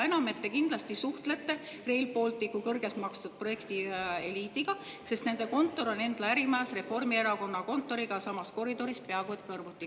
Seda enam, et te kindlasti suhtlete Rail Balticu projekti kõrgelt tasustatud eliidiga, sest nende kontor on Endla ärimajas, Reformierakonna kontoriga samas koridoris, peaaegu kõrvuti.